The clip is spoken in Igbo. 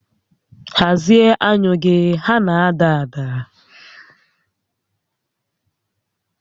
Hazie anyụ gị, ha na-ada ada!